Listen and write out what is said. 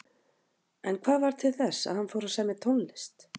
En hvað varð til þess að hann fór að semja tónlist?